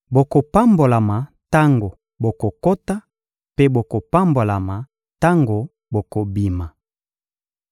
Bokopambolama tango bokokota mpe bokopambolama tango bokobima.